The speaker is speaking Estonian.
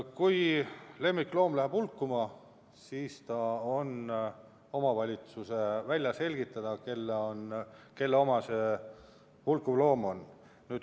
Kui lemmikloom läheb hulkuma, siis on omavalitsusel vaja välja selgitada, kelle oma see hulkuv loom on.